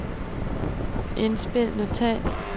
indspil notat